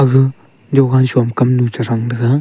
ga jovan som kamnu che thang thaga.